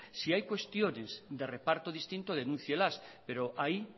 si hay cuestiones de reparto distinto denúncielas pero ahí